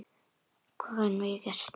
Hvað gátum við gert?